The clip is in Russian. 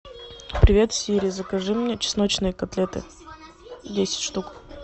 привет сири закажи мне чесночные котлеты десять штук